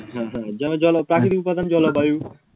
হ্যাঁ হ্যাঁ যেমন প্রাকৃতিক উপাদান জলবায়ু